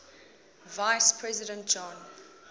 vice president john